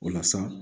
O la sa